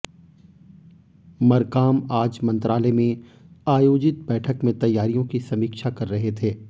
मरकाम आज मंत्रालय में आयोजित बैठक में तैयारियों की समीक्षा कर रहे थे